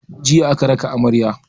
Jiya aka raka amarya.